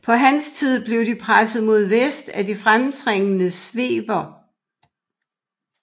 På hans tid blev de presset mod vest af de fremtrængende sveber